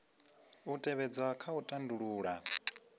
u tevhedzwa kha u tandulula